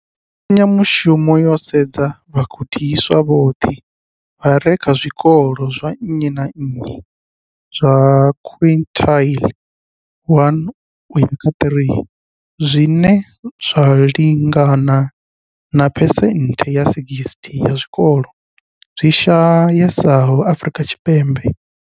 Mbekanyamushumo yo sedza vhagudiswa vhoṱhe vha re kha zwikolo zwa nnyi na nnyi zwa quintile 1-3, zwine zwa lingana na phesenthe dza 60 ya zwikolo zwi shayesaho Afrika Tshipembe.